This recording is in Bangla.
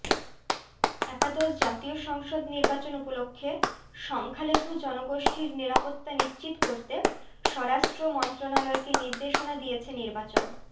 একাদশ জাতীয় সংসদ নির্বাচন উপলক্ষে সংখ্যালঘু জনগোষ্ঠীর নিরাপত্তা নিশ্চিত করতে স্বরাষ্ট্র মন্ত্রণালয়কে নির্দেশনা দিয়েছে নির্বাচন